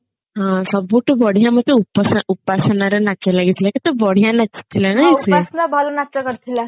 ହଁ ସବୁଠୁ ବଢିଆ ମତେ ଉପାସ ଉପାସନା ର ନାଚ ଲାଗିଥିଲା କେତେ ବଢିଆ ନାଚି ଥିଲା ନା ସିଏ